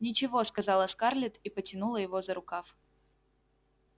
ничего сказала скарлетт и потянула его за рукав